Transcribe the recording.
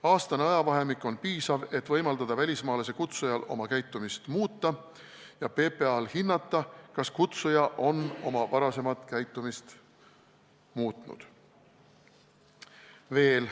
Aastane ajavahemik on piisav, et võimaldada välismaalase kutsujal oma käitumist muuta ja PPA-l hinnata, kas kutsuja on oma varasemat käitumist muutnud.